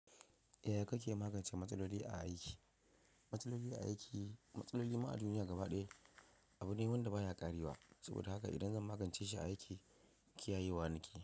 Ya kake magance matsaloli a aiki? Matsaloli a aiki, matsaloli ma duniya gaba ɗaya abu ne wanda baya ƙarewa. Saboda haka idan zan magance shi a aiki, kiyayewa nake.